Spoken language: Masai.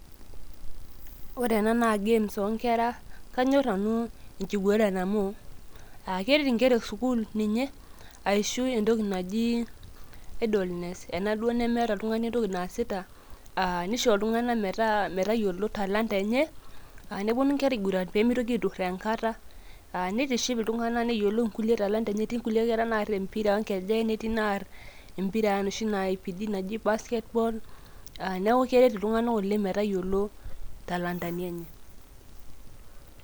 Ore ena naa games onkera, kanyor nanu inkiguran amu, ah keret inkera esukuul ninye, aishu entoki naji idleness ,enaduo nemeeta oltung'ani entoki naasita, ah nisho iltung'anak metaa metayiolo talanta enye, ah neponu nkera aiguran pemitoki aiturraa enkata. Ah nitiship iltung'anak neyiolou nkule talanta enye, etii nkulie kera naar empira onkejek, netii naar empira enoshi naipidi naji basketball ,neeku keret iltung'anak oleng' metayiolo intalantani enye.